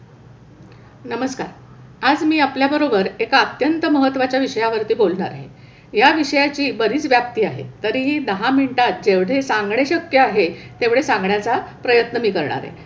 नमस्कार. आज मी आपल्याबरोबर एका अत्यंत महत्वाच्या विषयावरती बोलणार आहे. या विषयाची बरीच व्याप्ती आहे. तरीही दहा मिनिटात जेवढे सांगणे शक्य आहे तेवढे सांगण्याचा प्रयत्न मी करणार आहे.